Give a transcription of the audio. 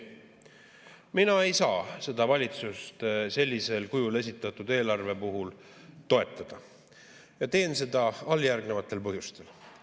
Mina ei saa seda valitsust sellisel kujul esitatud eelarve puhul toetada ja teen seda alljärgnevatel põhjustel.